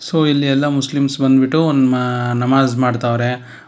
So ಇಲ್ಲಿ ಎಲ್ಲಾ Muslims ಬಂದ್ಬಿಟ್ಟು ಒಂದ್ - ಮ- ನಮಾಜ್ ಮಾಡ್ತಾವ್ರೆ.